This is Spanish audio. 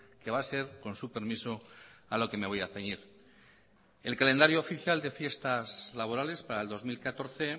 que va a ser con su permiso a lo que me voy a ceñir el calendario oficial de fiestas laborales para el dos mil catorce